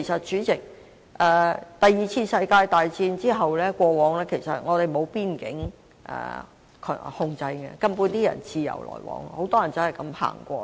主席，第二次世界大戰後，我們其實並無邊境控制，人們可以自由往來。